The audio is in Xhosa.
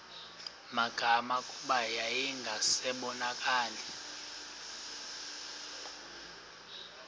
magama kuba yayingasabonakali